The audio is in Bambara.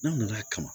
N'a nana kama